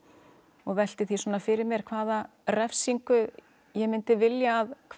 og velti því svona fyrir mér hvaða refsingu ég myndi vilja að